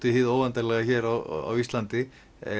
í hið óendanlega hér á íslandi